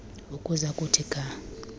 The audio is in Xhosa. ukuza kuthi ga